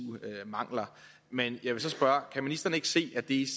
mangler men jeg vil så spørge kan ministeren ikke se at det